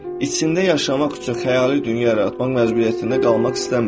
İçində yaşamaq üçün xəyali dünya yaratmaq məcburiyyətində qalmaq istəmirəm.